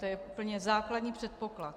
To je úplně základní předpoklad.